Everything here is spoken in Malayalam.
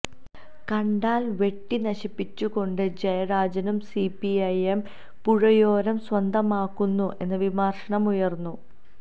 കണ്ടൽ വെട്ടി നശിപ്പിച്ചുകൊണ്ട് ജയരാജനും സിപിഐഎം പുഴയോരം സ്വന്തമാക്കുന്നു എന്ന വിമർശനം ഉയർന്നു